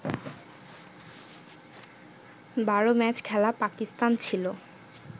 ১২ match খেলা পাকিস্তান ছিল